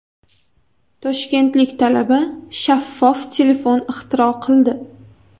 Toshkentlik talaba shaffof telefon ixtiro qildi .